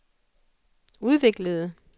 udviklede